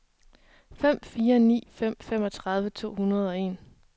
fem fire ni fem femogtredive to hundrede og en